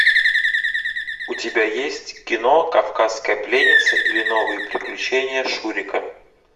у тебя есть кино кавказская пленница или новые приключения шурика